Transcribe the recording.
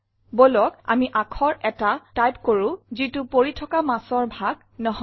বলক আমি আখৰ এটা টাইপ কৰো যিটো পৰি থকা মাছৰ ভাগ নহয়